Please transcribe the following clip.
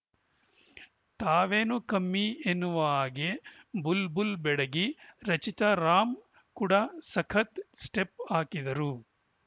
ತಾವೇನು ಕಮ್ಮಿ ಎನ್ನುವ ಹಾಗೆ ಬುಲ್‌ ಬುಲ್‌ ಬೆಡಗಿ ರಚಿತಾ ರಾಮ್‌ ಕೂಡ ಸಖತ್‌ ಸ್ಟೆಪ್‌ ಹಾಕಿದರು